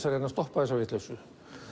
að reyna að stoppa þessa vitleysu